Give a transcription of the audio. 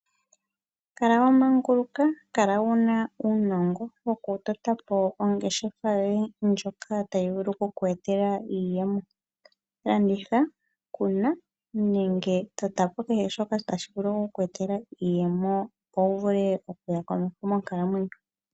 Kala wa manguluka, kala wuna uunongo wo ku totapo ongeshefa yoye ndjoka tayi vulu oku ku etela iiyemo. Oku landitha, oku kuna nenge oku tota po hehe shimwe shoka tashi vulu oku ku etela iiyemo, opo wu vule oku huma komeho monkalamwenyo.